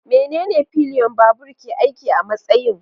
Menene pillion babur ke aiki a matsayin?